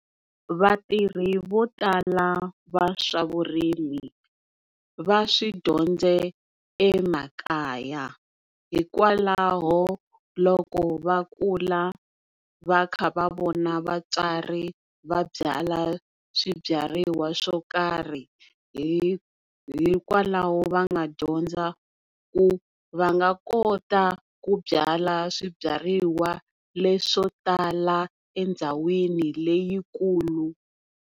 Vatirhi vo tala va swa vurimi va swi dyondze emakaya hikwalaho loko va kula va kha va vona vatswari va byala swibyariwa swo karhi hikwalaho va nga dyondza ku va nga kota ku byala swibyariwa leswo tala endhawini leyikulu.